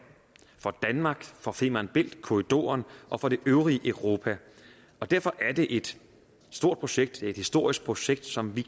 for danmark for femern bælt korridoren og for det øvrige europa og derfor er det et stort projekt et historisk projekt som vi